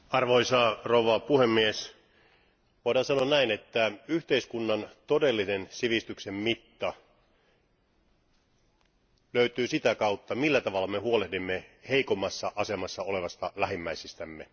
Arvoisa puhemies, voidaan sanoa näin, että yhteiskunnan todellinen sivistyksen mitta löytyy sitä kautta, millä tavalla me huolehdimme heikommassa asemassa olevista lähimmäisistämme.